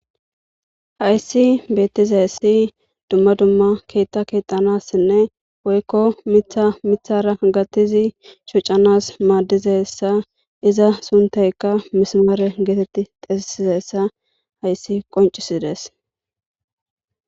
hayssi bettizayessi dumma dumma keetta keetanassinne woykko mitha mithara gattizi shucanas maaddizessa iza suntayka misimare geetetti xesesizessa hayssi qoncisides